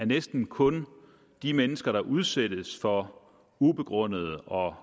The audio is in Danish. næsten kun er de mennesker der udsættes for ubegrundede og